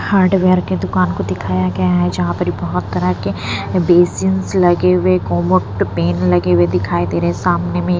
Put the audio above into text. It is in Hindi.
हार्डवेयर के दुकान को दिखाया गया है जहाँ पर बहुत तरह के बेसिंस लगे हुए कोमोट पेन लगे हुए दिखाई दे रहे हैं सामने में --